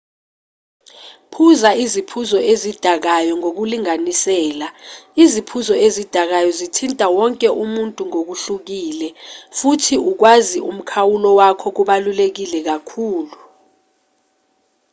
phuza iziphuzo ezidakayo ngokulinganisela iziphuzo ezidakayo zithinta wonke umuntu ngokuhlukile futhi ukwazi umkhawulo wakho kubaluleke kakhulu